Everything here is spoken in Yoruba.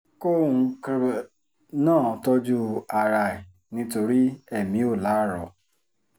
kóun náà tọ́jú ara ẹ̀ nítorí èmi ò láárọ̀